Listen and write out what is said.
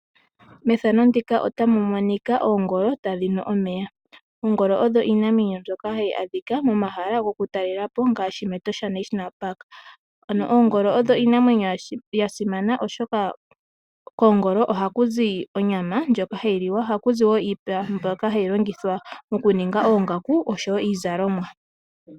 Methano ndika otamu monika oongolo tadhi nu omeya. Oongolo odho iinamwenyo mbyoka hayi adhika momahala goku talelapo ngaashi mEtosha National Park. Ano oongolo odho iinamwenyo yasimana oshoka koongolo ohaku zi onyama ndjoka hayi liwa. Ohaku zi wo iipa mbyoka hayi longithwa oku ninga oongaku oshowo iizalomwa.